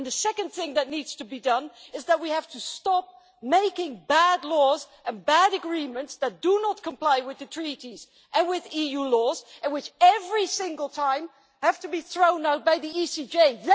The second thing that needs to be done is that we have to stop making bad laws and bad agreements that do not comply with the Treaties and with EU law, and which, every single time, have to be thrown out by the Court of Justice.